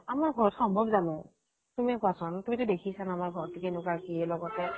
আমাৰ ঘৰত সম্ভৱ জানো? তুমিয়ে কোৱাচোন। তুমিতো দেখিছা ন আমাৰ ঘৰটো কেনেকুৱা কি লগতে